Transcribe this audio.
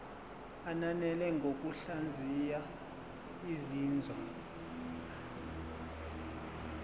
ananele ngokuhlaziya izinzwa